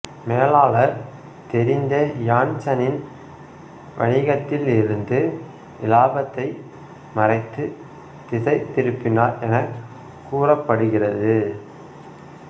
மேலாளர் தெரிந்தே இயான்சனின் வணிகத்திலிருந்து இலாபத்தைத் மறைத்து திசை திருப்பினார் எனக் கூறப்படுகிறது